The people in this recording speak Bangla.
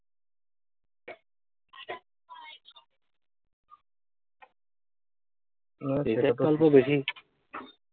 এই side টা অল্প বেশি।